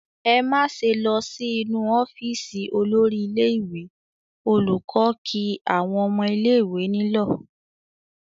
"Ẹ má ṣe lọ sí inú ọ́fíísì olórí ilé-ìwé!" Olùkọ́ kí àwọn ọmọ ilé-ìwé nílọ̀.